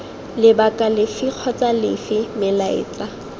lebaka lefe kgotsa lefe melaetsa